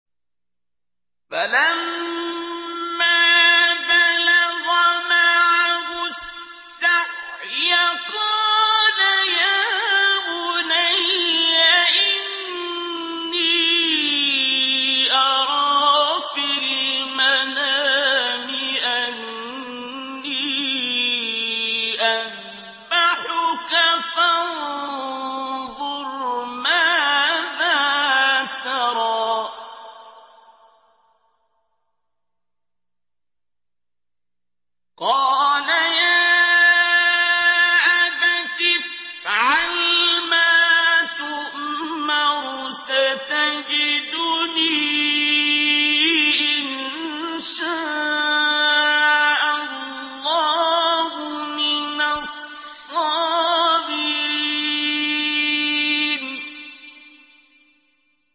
فَلَمَّا بَلَغَ مَعَهُ السَّعْيَ قَالَ يَا بُنَيَّ إِنِّي أَرَىٰ فِي الْمَنَامِ أَنِّي أَذْبَحُكَ فَانظُرْ مَاذَا تَرَىٰ ۚ قَالَ يَا أَبَتِ افْعَلْ مَا تُؤْمَرُ ۖ سَتَجِدُنِي إِن شَاءَ اللَّهُ مِنَ الصَّابِرِينَ